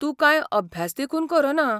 तूं कांय अभ्यास देखून करना.